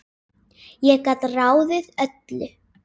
Ég gat ráðið öllu.